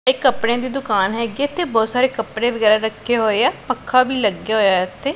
ਇੱਕ ਕੱਪੜਿਆਂ ਦੀ ਦੁਕਾਨ ਹੈਗੀ ਤੇ ਬਹੁਤ ਸਾਰੇ ਕੱਪੜੇ ਵਗੈਰਾ ਰੱਖੇ ਹੋਏ ਆ ਪੱਖਾ ਵੀ ਲੱਗਿਆ ਹੋਇਆ ਹੈ ਇਥੇ।